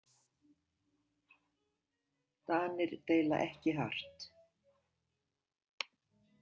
Danir deila ekki hart.